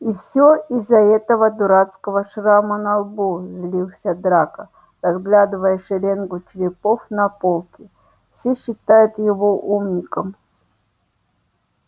и все из-за этого дурацкого шрама на лбу злился драко разглядывая шеренгу черепов на полке все считают его умником